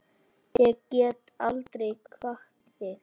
Ég get aldrei kvatt þig.